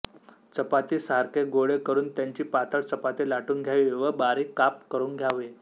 चपाती सारखे गोळे करून त्याची पातळ चपाती लाटून घ्यावी व बारीक काप करून घ्यावे